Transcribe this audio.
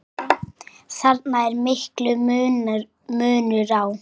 Þarna er mikill munur á.